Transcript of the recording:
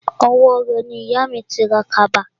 Owó rẹ̀ ni ìyà mi ti ra kaba